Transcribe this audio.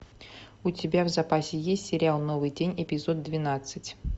у тебя в запасе есть сериал новый день эпизод двенадцать